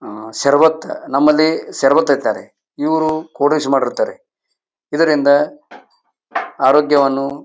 ಆಹ್ಹ್ ಶರಬತ್ ನಮ್ಮಲ್ಲಿ ಶರಬತ್ ಅಂತಾರೆ ಇವರು ಕೂಡಿಷ್ ಮಾಡಿರ್ತ್ತಾರೆ ಇದರಿಂದ ಆರೋಗ್ಯವನ್ನು--